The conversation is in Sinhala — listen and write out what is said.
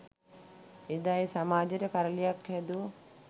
එදා ඒ සමාජයට කරළියක් හැදූ